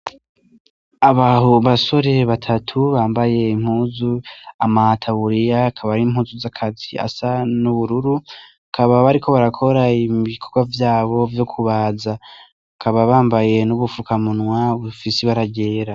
Abasore batatu bambaye impuzu, amataburiya, akaba ari impuzu z'akazi asa n'ubururu bakaba bariko bakora ibikorwa vyabo vyokubaza bakaba bambaye n'ubufukamunwa bufise ibara ryera.